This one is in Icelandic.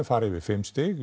fari yfir fimm stig